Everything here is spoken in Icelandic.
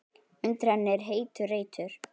Undir henni er heitur reitur.